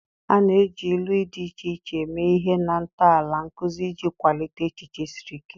A na-eji ilu dị iche iche eme ihe na ntọala nkuzi iji kwalite echiche siri ike.